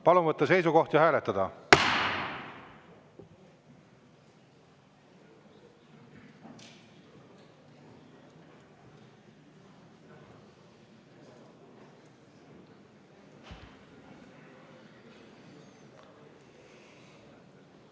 Palun võtta seisukoht ja hääletada!